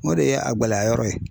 O de ye a gɛlɛya yɔrɔ ye.